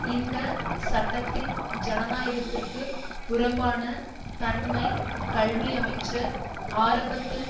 இந்த சட்டத்தின் ஜனநாயகத்திற்கு புறம்பான தன்மை கல்வியமைச்சர் ஆரம்பத்தில்